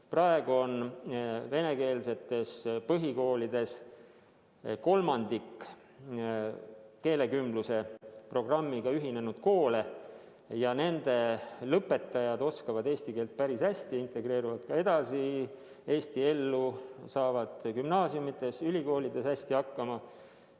Praegu on venekeelsetest põhikoolidest kolmandik ühinenud keelekümbluse programmiga ja nende lõpetajad oskavad eesti keelt päris hästi, nad integreeruvad ka Eesti ellu ja saavad gümnaasiumides-ülikoolides hästi hakkama.